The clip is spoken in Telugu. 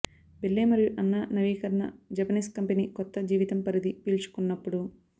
బెల్లె మరియు అన్నా నవీకరణ జపనీస్ కంపెనీ కొత్త జీవితం పరిధి పీల్చుకున్నప్పుడు